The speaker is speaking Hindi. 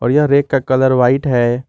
यह रेक का कलर व्हाइट है।